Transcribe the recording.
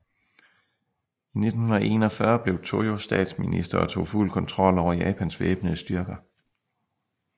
I 1941 blev Tojo statsminister og tog fuld kontrol over Japans væbnede styrker